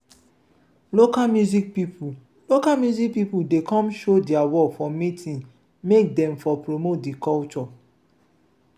local music pipo local music pipo dey come show dia work for meeting make dem for promote di culture.